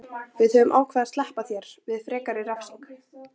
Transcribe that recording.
Við höfum ákveðið að SLEPPA ÞÉR VIÐ FREKARI REFSINGU.